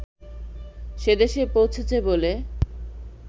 সেদেশে পৌঁছেছে বলে